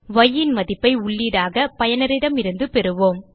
ய் ன் மதிப்பை உள்ளீடாக பயனரிடமிருந்து பெறுவோம்